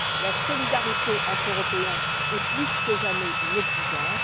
La solidarité entre Européens est plus que jamais une exigence.